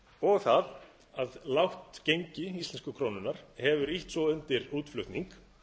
og það að lágt gengi íslensku krónunnar hefur ýtt svo undir útflutning